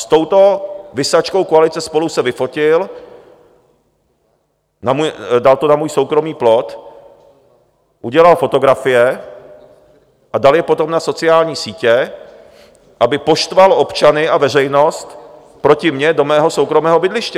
S touto visačkou koalice SPOLU se vyfotil, dal to na můj soukromý plot, udělal fotografie a dal je potom na sociální sítě, aby poštval občany a veřejnost proti mně do mého soukromého bydliště.